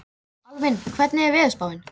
Alvin, hvernig er veðurspáin?